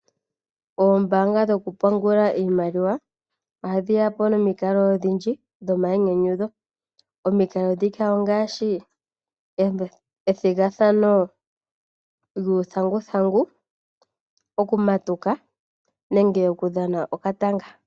Oombaanga dhoku pungula iimaliwa, ohadhi yapo nomikalo odhindji dho mayinyanyudho. Omikalo ndhika ongaashi, ethigathano lyuuthanguthangu, oku matuka, nenge oku dhana okatanga.